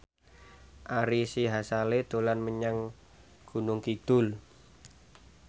Ari Sihasale dolan menyang Gunung Kidul